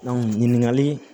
ɲininkali